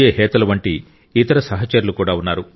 హేతల్ వంటి ఇతర సహచరులు కూడా ఉన్నారు